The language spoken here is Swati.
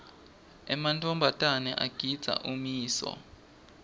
emantfombatana agindza ummiso